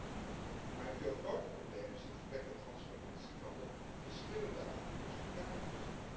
Dat is mooi, maar een veel groter probleem is het gebrek aan transparantie van de verschillende aanbieders van kaartjes.